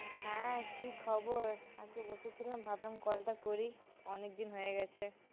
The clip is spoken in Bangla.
হ্যাঁ, কী খবর? একটু বসেছিলাম, ভাবলাম call টা করি অনেক দিন হয়ে গেছে